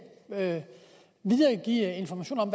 vil videregive informationer om